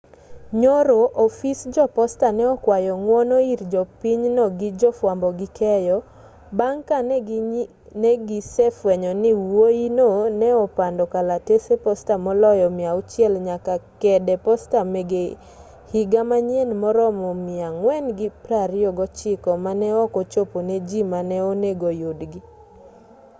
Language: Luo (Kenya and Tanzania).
nyoro ofis jo posta ne okwayo ng'wono ir jopinyno gi jo fwambo gi keyo bang' ka negise fwenyo ni wuoyino ne opando kalatese posta moloyo 600 nyaka kede posta mege higa manyien maromo 429 ma ne ok ochopo ne jii mane onego yudgi